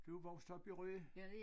Du er vokset op i Rø